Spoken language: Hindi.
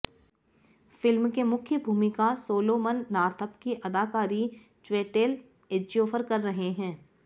फ़िल्म के मुख्य भूमिका सोलोमन नाॅर्थअप की अदाकारी च्वेटेल एज्योफर कर रहे हैं